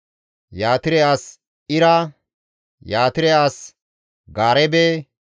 Yatire as Ira, Yatire as Gaareebe,